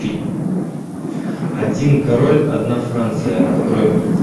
один король одна франция открой мне